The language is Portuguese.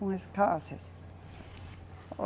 Com as casas.